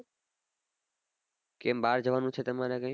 કેમ બાર જવાનું છે તમારે કઈ